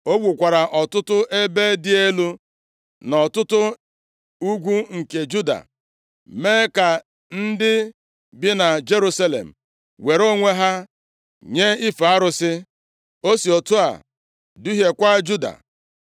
O wukwara ọtụtụ ebe dị elu nʼọtụtụ ugwu nke Juda, mee ka ndị bi na Jerusalem were onwe ha nye ife arụsị. O si otu a duhiekwa Juda.